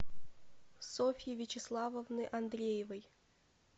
софьи вячеславовны андреевой